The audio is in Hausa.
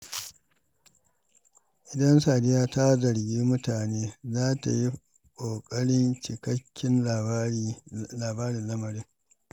Kafin Sadiya ta zargi mutane, za ta yi ƙoƙarin jin cikakken labarin lamarin.